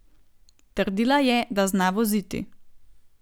Trdila je, da zna voziti.